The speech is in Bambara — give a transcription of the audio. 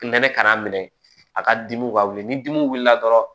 Nɛnɛ kana minɛ a ka dimiw ka wuli ni dimiw wulila dɔrɔn